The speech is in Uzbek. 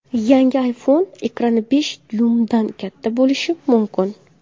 Yangi iPhone ekrani besh dyuymdan katta bo‘lishi mumkin.